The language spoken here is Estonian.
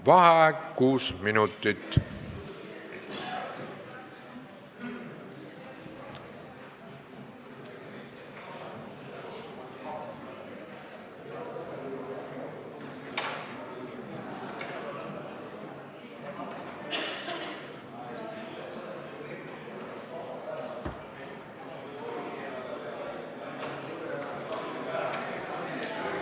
Vaheaeg kuus minutit.